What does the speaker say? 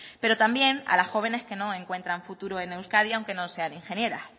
pero también a las jóvenes que no encuentran futuro en euskadi aunque no sean ingenieras